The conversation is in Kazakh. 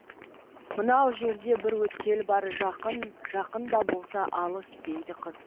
мынау жерде бір өткел бар жақын жақын да болса алыс дейді қыз